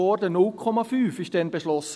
0,5 Prozent wurden damals beschlossen.